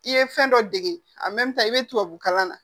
I ye fɛn dɔ dege a i bɛ tubabu kalan na